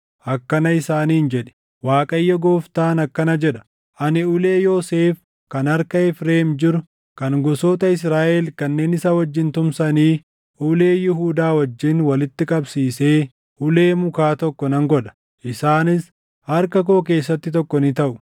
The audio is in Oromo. akkana isaaniin jedhi; ‘ Waaqayyo Gooftaan akkana jedha: Ani ulee Yoosef kan harka Efreem jiru kan gosoota Israaʼel kanneen isa wajjin tumsanii, ulee Yihuudaa wajjin walitti qabsiisee ulee mukaa tokko nan godha; isaanis harka koo keessatti tokko ni taʼu.’